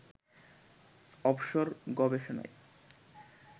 অবসর গবেষণায়